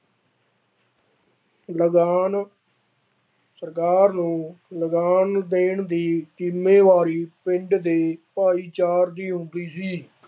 ਲਗਾਨ ਸਰਕਾਰ ਨੂੰ ਲਗਾਨ ਦੇਣ ਦੀ ਜ਼ਿੰਮੇਵਾਰੀ ਪਿੰਡ ਦੇ ਭਾਈਚਾਰ ਦੀ ਹੁੰਦੀ ਸੀ।